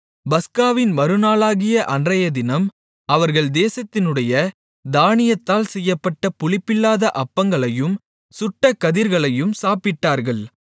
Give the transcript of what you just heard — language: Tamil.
பஸ்காவின் மறுநாளாகிய அன்றையதினம் அவர்கள் தேசத்தினுடைய தானியத்தால் செய்யப்பட்ட புளிப்பில்லாத அப்பங்களையும் சுட்ட கதிர்களையும் சாப்பிட்டார்கள்